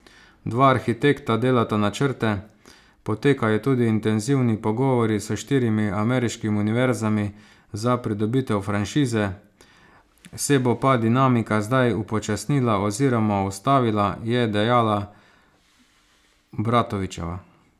Dva arhitekta delata načrte, potekajo tudi intenzivni pogovori s štirimi ameriškimi univerzami za pridobitev franšize, se bo pa dinamika zdaj upočasnila oziroma ustavila, je dejala Bratovićeva.